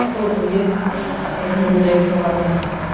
сол бізге үнемдірек болады